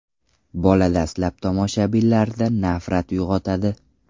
Bola dastlab tomoshabinlarda nafrat uyg‘otadi.